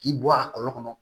K'i bɔ a kɔrɔ